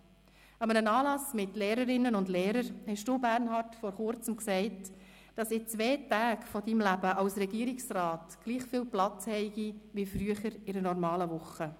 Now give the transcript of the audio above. An einem Anlass mit Lehrerinnen und Lehrern sagtest du, Bernhard, vor Kurzem, dass in zwei Tagen deines Lebens als Regierungsrat gleich viel Platz habe wie früher in einer normalen Woche.